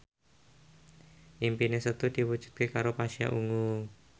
impine Setu diwujudke karo Pasha Ungu